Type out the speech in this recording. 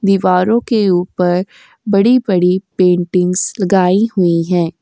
दीवारों के उपर बड़ी-बड़ी पेंटिंग्स लगाई हुई है।